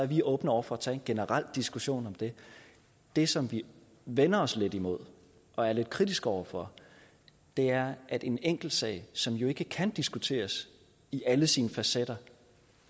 vi åbne over for at tage en generel diskussion om det det som vi vender os lidt imod og er lidt kritiske over for er at en enkeltsag som ikke kan diskuteres i alle sine facetter